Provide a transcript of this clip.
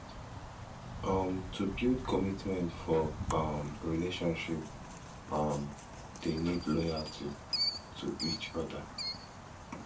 um to build commitment for um relationship um de need loyalty to each other